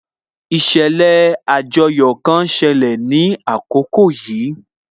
Ìṣẹ̀lẹ̀ àjoyò kan ń ṣẹlẹ̀ ní àkókò yìí